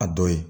A dɔ ye